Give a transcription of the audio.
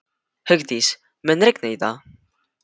Hugdís, mun rigna í dag?